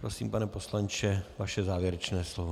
Prosím, pane poslanče, vaše závěrečné slovo.